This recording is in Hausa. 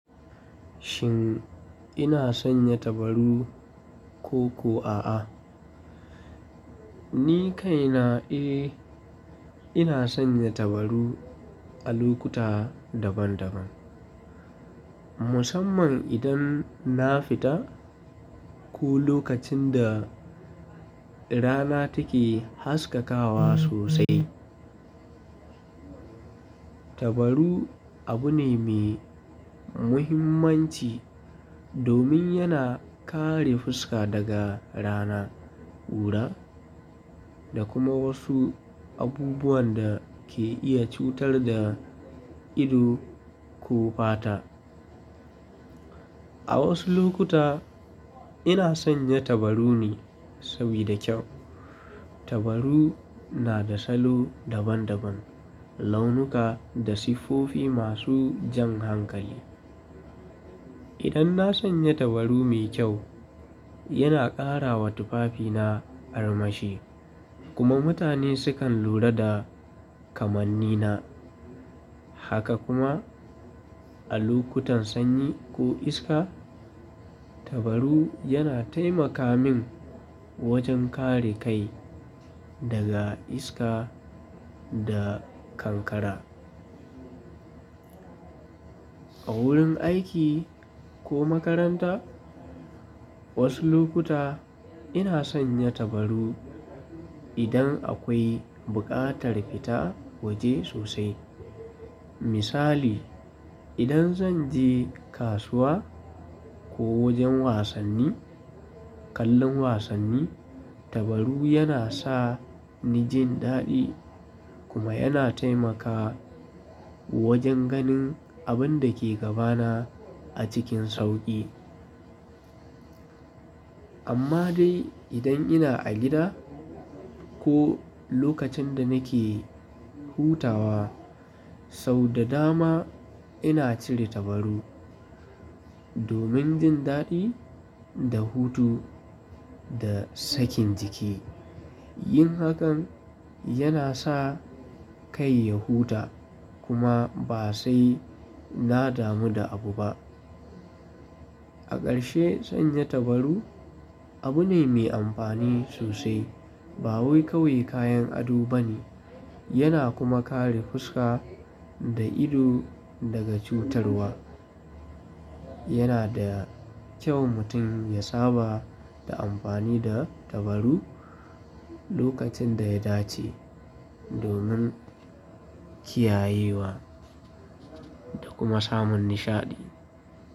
Shin ina sanya tabaru ko ko a'a? Ni kaina, eh, ina sanya tabaru a lokuta daban-daban. Musamman idan na fita ko lokacin da rana take haskakawa sosai. Tabaru abu ne mai muhimmanci domin yana kare fuska daga rana, kura da kuma wasu abubuwan da ke iya cutar da ido ko fata. A wasu lokuta ina sanya tabaru ne saboda kyau. Tabaru na da salo daban-daban, launuka da siffofi masu jan hankali. Idan na sanya tabaru mai kyau, yana ƙara wa tufafina armashi kuma mutane sukan lura da kamannina. Haka kuma a lokutan sanyi ko iska, tabaru yana taimaka min wajen kare kai daga iska da kankara. A wurin aiki ko makaranta, wasu lokuta ina sanya tabaru idan akwai buƙatar fita waje sosai. Misali, idan zan je kasuwa ko wajen wasanni, kallon wasanni, tabaru yana sa ni jin daɗi kuma yana taimaka wajen ganin abin da ke gabana a cikin sauƙi. Amma dai idan ina a gida ko lokacin da nake hutawa, sau da dama ina cire tabaru domin jin daɗi da hutu da sakin jiki. Yin hakan yana sa kai ya huta kuma ba sai na damu da abu ba. A ƙarshe, sanya tabaru abu ne mai amfani sosai. Ba wai kawai kayan ado bane yana kuma kare fuska da ido daga cutarwa. Yana da kyau mutum ya saba da amfani da tabaru lokacin da ya dace domin kiyayewa da kuma samun nishaɗi.